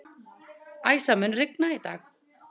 Æsa, mun rigna í dag?